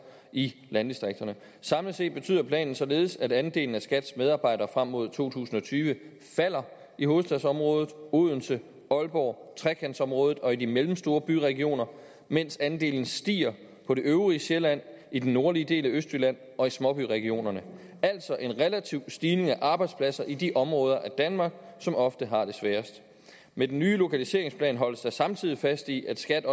i landdistrikterne samlet set betyder planen således at andelen af skats medarbejdere frem mod to tusind og tyve falder i hovedstadsområdet odense aalborg trekantområdet og i de mellemstore byregioner mens andelen stiger på det øvrige sjælland i den nordlige del af østjylland og i småbyregionerne altså en relativ stigning af arbejdspladser i de områder af danmark som ofte har det sværest med den nye lokaliseringsplan holdes der samtidig fast i at skat